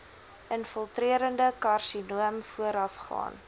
infiltrerende karsinoom voorafgaan